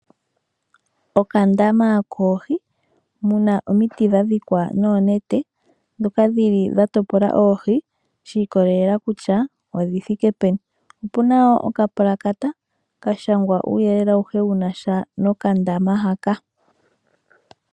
Okandama koohi. Muna omiti dha dhikwa noonete ndhoka dhili dha topola oohi shi ikolelela kutya odhi thike peni. Opuna wo okapulakata ka shangwa uuyelele awuhe wuna sha nokandama haka.